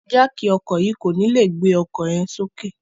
Jáákí ọkọ yii ko ni le gbe ọkọ yẹn soke